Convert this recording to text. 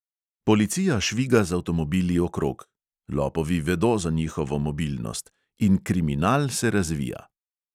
Policija šviga z avtomobili okrog (lopovi vedo za njihovo mobilnost) in kriminal se razvija.